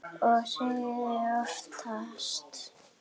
Og sigrar oftast.